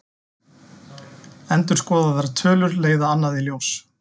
Endurskoðaðar tölur leiða annað í ljós